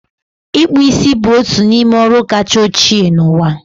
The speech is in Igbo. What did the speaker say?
Ịkpų isi bụ otu n'ime ọrụ kacha ochie n'ụwa.